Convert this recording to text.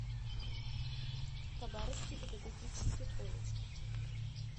хабаровский педагогический колледж